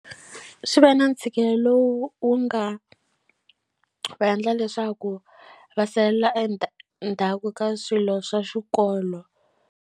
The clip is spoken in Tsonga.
Swi ve na ntshikelelo wu wu nga va endla leswaku va salela endzhaku ka swilo swa xikolo.